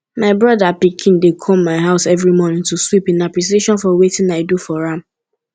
my brother pikin dey come my house every morning to sweep in appreciation of wetin i do for am